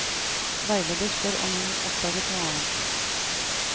Veileder spør om hun oppdaget noe annet.